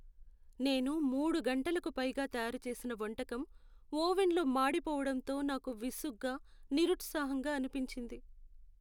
నేను మూడు గంటలకు పైగా తయారుచేసిన వంటకం ఓవెన్లో మాడిపోవడంతో నాకు విసుగ్గా, నిరుత్సాహంగా అనిపించింది.